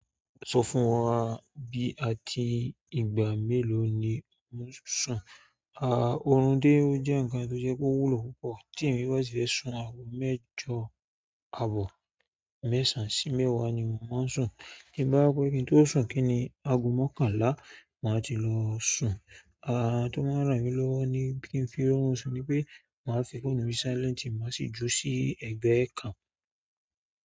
Sọ fún wa bí àti ìgbà mélòó ni ò ń sun. Òrún dé o jẹ́ ǹkan tó sẹ́ pé ó wúlò púpọ̀ tí ẹ̀mi bá si fẹ́ sun aago mẹ́jọ, àbọ̀ mẹ́sàn sí mẹ́wàá ni mò mọ ń sun. Bí bá pẹ́ kí n tó sun kíni, aago mọ́kànlá màá ti lọ sun. À ǹ tí tó máa ń ràn mí lọ́wọ́ ní kin fi rọrùn sun ni pé màá fi fóònù mi si silent máa sì dúró sí ẹgbẹ́ kan.